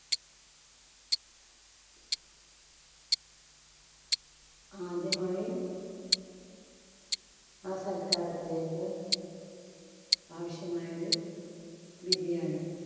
ആദ്യമായി ആ സൽക്കാരത്തിലേക്ക് ആവശ്യമായൊരു biriyani